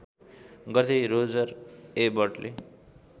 गर्दै रोजर एबर्टले